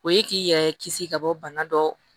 O ye k'i yɛrɛ kisi ka bɔ bana dɔ